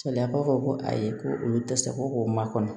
Sariya b'a fɔ ko ayi ko olu tɛ se ko k'o makɔnɔ